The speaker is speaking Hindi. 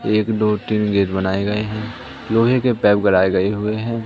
एक दो तीन गेट बनाए गए हैं लोहे के पाईप गड़ाये गए हुए हैं।